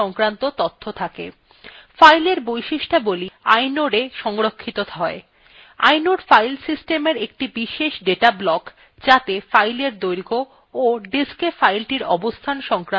fileএর বৈশিষ্ট্যাবলী inodea সংরক্ষিত হয় inode file systemএর একটি বিশেষ data block যাত়ে file দৈর্ঘ্য of diska filethe অবস্থান সংক্রান্ত তথ্য থাকে